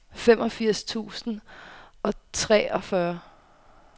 femogfirs tusind og treogfyrre